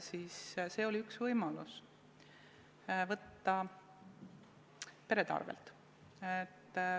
Siis oli see üks võimalusi võtta perede arvelt.